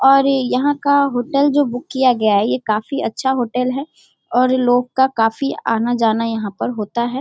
और यहाँ का होटल जो बुक किया गया है ये काफी अच्छा होटल है और लोग का काफी आना-जाना यहाँ पर होता है।